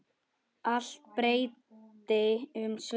Allt breytti um svip.